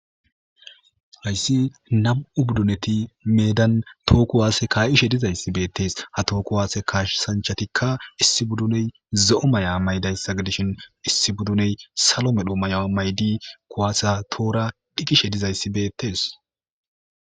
Hayissi nam'u budduneti meddan too kuwase ka'ishe dizyizasi bettes ha too kuwase kassanchatikka issi budduney zo'o maya mayidaysa giddishin issi budfuney salo medho mayo mayidi kuwasa toohora dhiqqishe dizzayisi bettes.